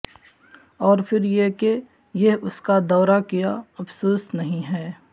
اور پھر یہ کہ یہ اس کا دورہ کیا افسوس نہیں ہے